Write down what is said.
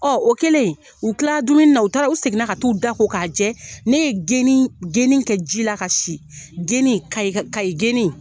o kɛlen u kilala dumuni na, u taara u seginna ka taa u da ko k'a jɛ, ne ye geni kɛ ji la ka si geni kay Kayi geni.